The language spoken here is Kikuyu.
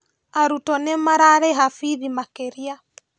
Arutwo nĩ mararĩha bithi makĩria